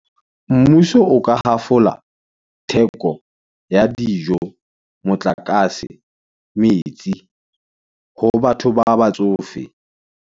Mmuso o ka ha fola , theko ya dijo, motlakase, metsi, ho batho ba batsofe.